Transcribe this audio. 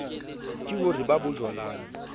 ke ho re ba bojwalane